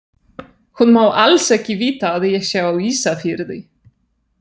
Hún má alls ekki vita að ég sé á Ísafirði!